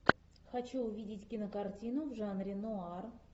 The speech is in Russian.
хочу увидеть кинокартину в жанре нуар